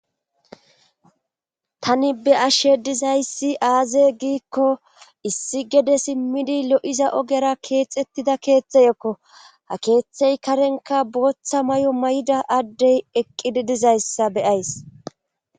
tani be'ashe dizayssi aaze giikko issi gede simmidi lo'iza ogera keexettida keeththey ekko ha keeththey karenka booththa may7o may7ida addey eqqidi dizayssa beyays